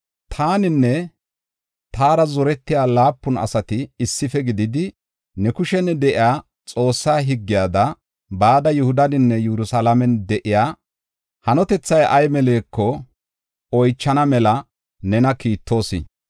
Taaninne taara zorettiya laapun asati issife gididi, ne kushen de7iya Xoossaa higgiyada, bada Yihudaninne Yerusalaamen de7iya hanotethay ay meleko oychana mela nena kiittoos.